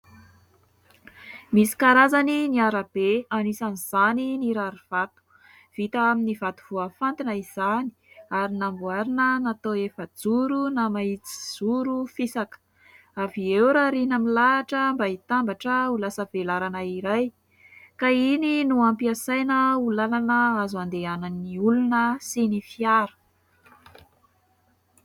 Misy karazany ny arabe anisan'izany ny rarivato vita amin'ny vato voafantina izany ary namboarina natao efajoro na mahitsy zoro fisaka ; avy eo rarina milahatra mba hitambatra ho lasa velarana iray ka iny no ampiasaina ho lalana azo andehanan'ny olona sy ny fiara.